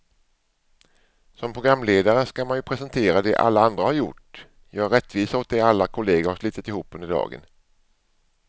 Som programledare ska man ju presentera det alla andra har gjort, göra rättvisa åt det alla kollegor har slitit ihop under dagen.